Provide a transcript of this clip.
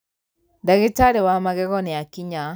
ndagītarī wa magego nīakinya.